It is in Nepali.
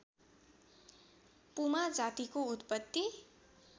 पुमा जातिको उत्पत्ति